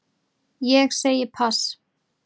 Ég segi pass